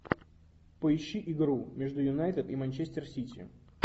поищи игру между юнайтед и манчестер сити